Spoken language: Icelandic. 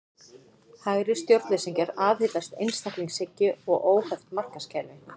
Hægri stjórnleysingjar aðhyllast einstaklingshyggju og óheft markaðskerfi.